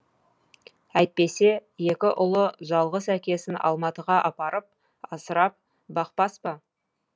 әйтпесе екі ұлы жалғыз әкесін алматыға апарып асырап бақпас па